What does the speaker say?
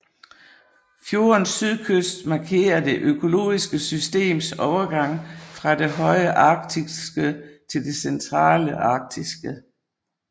Fjordens sydkyst markerer det økologiske systems overgang fra det høje arktiske til det centrale arktiske